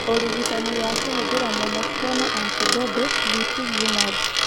ũrigitani wa kũhũthĩra monoclonal antibody (rituximab).